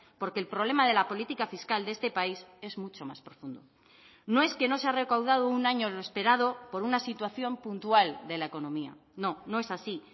porque el problema de la política fiscal de este país es mucho más profundo no es que no se ha recaudado un año lo esperado por una situación puntual de la economía no no es así